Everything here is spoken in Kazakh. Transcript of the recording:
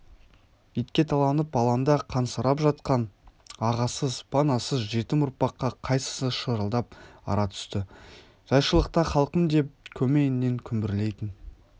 итке таланып алаңда қансырап жатқан ағасыз панасыз жетім ұрпаққа қайсысы шырылдап ара түсті жайшылықта халқым деп көмейңнен күмбірлейтін